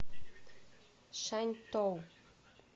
шаньтоу